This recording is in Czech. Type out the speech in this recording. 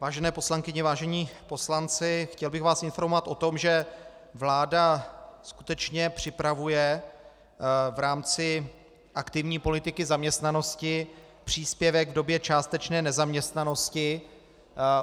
Vážené poslankyně, vážení poslanci, chtěl bych vás informovat o tom, že vláda skutečně připravuje v rámci aktivní politiky zaměstnanosti příspěvek v době částečné nezaměstnanosti.